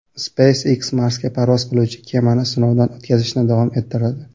SpaceX Marsga parvoz qiluvchi kemani sinovdan o‘tkazishni davom ettiradi.